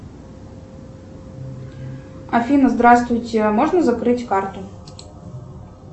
афина здравствуйте можно закрыть карту